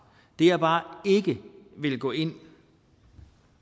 det jeg bare ikke vil gå ind